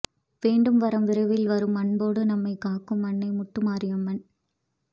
வேண்டும் வரம் விரைவில் வரும் அன்போடு நம்மை காக்கும் அன்னை முத்துமாரியம்மன்